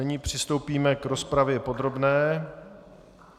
Nyní přistoupíme k rozpravě podrobné.